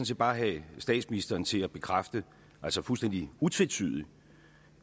set bare have statsministeren til at bekræfte fuldstændig utvetydigt